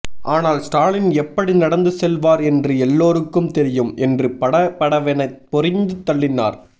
ஆனால் ஸ்டாலின் எப்படி நடந்து செல்வார் என்று எல்லோருக்கும் தெரியும் என்று பட படவென பொரிந்து தள்ளினார்